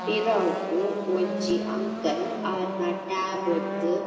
ಪಿರವುರ್ದ್ ಒಂಜಿ ಅಂಕಲ್ ಆರ್ನ ರ್ದ್.